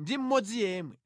ndi mmodzi yemwe.